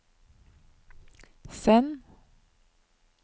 send